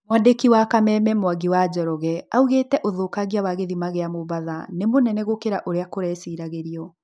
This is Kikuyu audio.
Mwandĩki wa kameme Mwangi wa Njoroge augĩte ũthũkangia wa gĩthima gĩa Mombatha ni mũnene gũkĩra ũrĩa kũreciragĩrio.